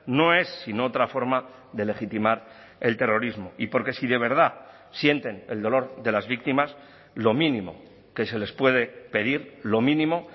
no es sino otra forma de legitimar el terrorismo y porque si de verdad sienten el dolor de las víctimas lo mínimo que se les puede pedir lo mínimo